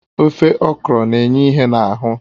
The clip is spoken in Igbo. Ofe okro na-enye ìhè n'ahụ